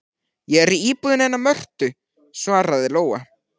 Ég er í íbúðinni hennar Mörtu, svaraði Lóa.